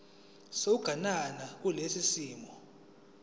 sokuganana kulesi simo